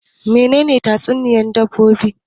Menene tatsuniyan dabbobi?